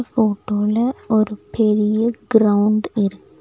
போட்டோல ஒரு பெரிய கிரவுண்ட் இருக்கு.